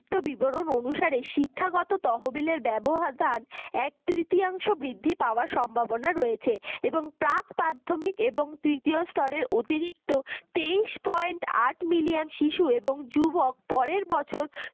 বিবরণ অনুসারে শিক্ষাগত তহবিলের ব্যবহার এক-তৃতীয়াংশ বৃদ্ধি পাওয়ার সম্ভাবনা রয়েছে এবং প্রাক-প্রাথমিক এবং তৃতীয় স্তরের অতিরিক্ত তেইশ poient আট million শিশু এবং যুবক পরের বছর